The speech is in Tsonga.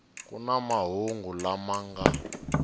ku na mahungu lama nga